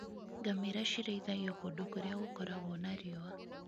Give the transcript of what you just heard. Ngamĩra cirĩithagio kũndũ kũrĩa gũkoragwo na riũa.